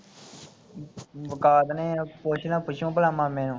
ਵਿਕਾ ਦਿੰਦੇ ਹਾਂ ਪੁੱਛਣਾ ਪੁੱਛੁ ਭਰਾ ਮਾਮੇ ਨੂੰ